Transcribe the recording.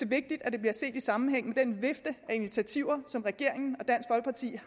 vigtigt at det bliver set i sammenhæng med den vifte af initiativer som regeringen